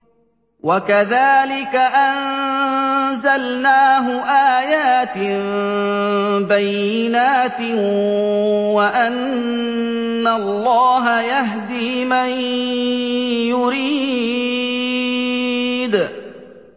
وَكَذَٰلِكَ أَنزَلْنَاهُ آيَاتٍ بَيِّنَاتٍ وَأَنَّ اللَّهَ يَهْدِي مَن يُرِيدُ